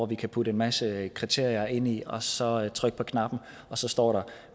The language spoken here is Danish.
vi kan putte en masse kriterier ind i og så trykke på knappen og så står der